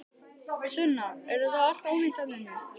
Sunna: Er þetta allt ónýtt þarna inni?